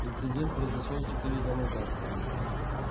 инцидент произошёл четыре дня назад